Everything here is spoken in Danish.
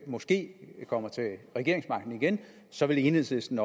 måske kommer til regeringsmagten igen så vil enhedslisten